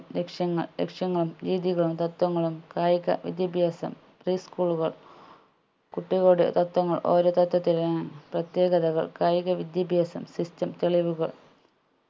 ലക്ഷ്യങ്ങൾ ലക്ഷ്യങ്ങളും രീതികളും തത്വങ്ങളും കായിക വിദ്യാഭ്യാസം preschool കൾ കുട്ടികളുടെ തത്വങ്ങൾ ഓരോ തത്വത്തിലും ഏർ പ്രത്യേകതകൾ കായിക വിദ്യാഭ്യാസം system തെളിവുകൾ